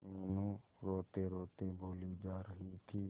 मीनू रोतेरोते बोली जा रही थी